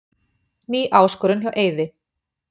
Ný áskorun hjá Eiði